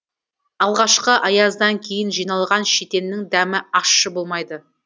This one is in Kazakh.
алғашқы аяздан кейін жиналған шетеннің дәмі ащы болмайды